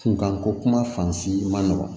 Kunkanko kuma fan man nɔgɔn